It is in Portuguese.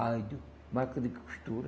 Rádio, máquina de costura.